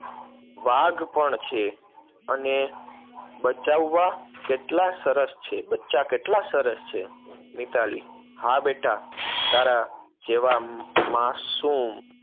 વાઘ પણ છે અને બચ્ચાંવવા કેટલા સરસ છે, બચ્ચા કેટલા સરસ છે. મિતાલી હા બેટા, તારા જેવા માસુમ